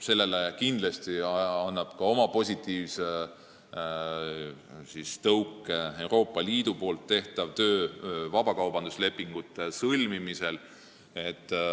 Sellele annab kindlasti positiivse tõuke ka Euroopa Liidu tehtav töö vabakaubanduslepingute sõlmimisel.